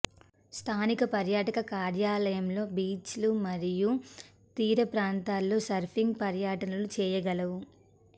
స్థానిక పర్యాటక కార్యాలయంలో బీచ్ లు మరియు తీరప్రాంతాల్లో సర్ఫింగ్ పర్యటనలు చేయగలవు